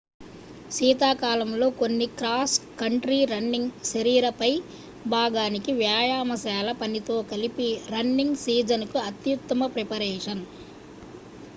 శీతాకాలంలో కొన్ని cross country running శరీర పై భాగానికి వ్యాయామశాల పనితో కలిపి రన్నింగ్ సీజన్ కు అత్యుత్తమ ప్రిపరేషన్